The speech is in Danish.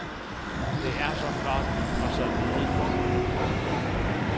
Det er så flot, og så lidet yndefuldt.